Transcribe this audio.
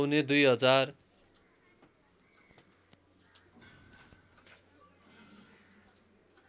पौने दुई हजार